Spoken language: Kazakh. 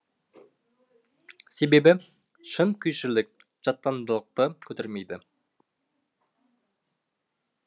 себебі шын күйшілік жаттандылықты көтермейді